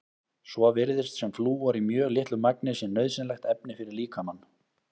Svo virðist sem flúor í mjög litlu magni sé nauðsynlegt efni fyrir líkamann.